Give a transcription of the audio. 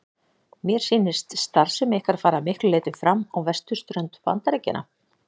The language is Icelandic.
Mér sýnist starfsemi ykkar fara að miklu leyti fram á vesturströnd Bandaríkjanna.